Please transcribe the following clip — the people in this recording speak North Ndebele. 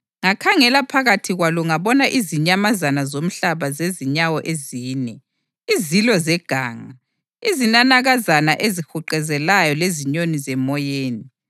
Ngakhangela phakathi kwalo ngabona izinyamazana zomhlaba zezinyawo ezine, izilo zeganga, izinanakazana ezihuquzelayo lezinyoni zemoyeni.